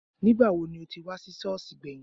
Nígbàwo ni o ti wá sí Sọ́ọ̀sì gbẹ̀yìn?